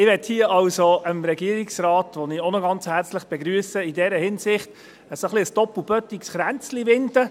Ich möchte hier also dem Regierungsrat, den ich an dieser Stelle herzlich begrüsse, in dieser Hinsicht ein doppelbödiges Kränzlein winden.